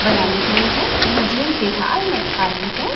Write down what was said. बनाई हुई है यह जिम फिलहाल में खाली है।